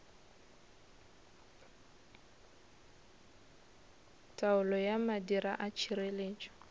taolo ya madira a tšhireletšo